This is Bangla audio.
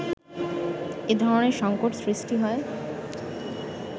এ ধরনের সংকট সৃষ্টি হয়